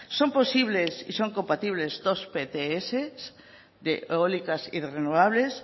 son posibles y son compatible dos pts eólicas y renovables